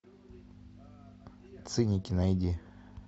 циники найди